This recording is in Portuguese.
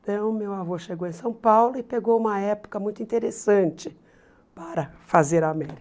Então, meu avô chegou em São Paulo e pegou uma época muito interessante para fazer a América.